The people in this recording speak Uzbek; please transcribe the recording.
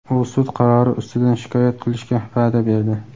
U sud qarori ustidan shikoyat qilishga va’da berdi.